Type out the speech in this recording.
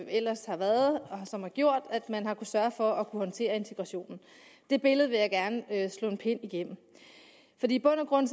ellers har været og som har gjort at man har sørge for at kunne håndtere integrationen det billede vil jeg gerne slå en pind igennem i bund og grund